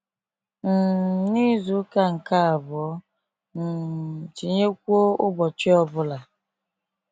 um N’izuka nke abụọ, um tinyekwuo, ụbọchị ọ bụla.